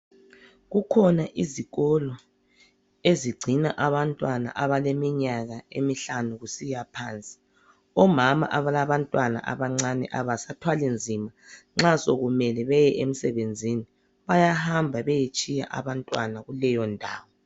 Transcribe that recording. Kukhona izikolo ezigcina abantwana abaleminyaka emihlanu kusiyaphansi. Omama abalabantwana abancani abasathwali nzima nxa sokumele beye emsebenzini, bayahamba beyetshiya abantwana kuleyo ndawo.